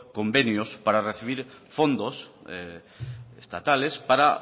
convenios para recibir fondos estatales para